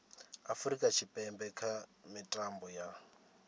afurika tshipembe kha mitambo ya